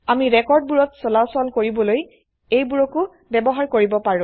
আমি ৰেকৰ্ডবোৰত চলাচল কৰিবলৈ এইবোৰকো ব্যবহাৰ কৰিব পাৰো